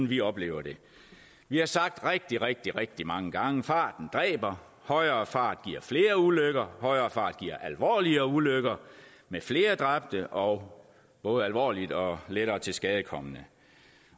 vi oplever det vi har sagt rigtig rigtig rigtig mange gange farten dræber højere fart giver flere ulykker højere fart giver alvorligere ulykker med flere dræbte og både alvorligt og lettere tilskadekomne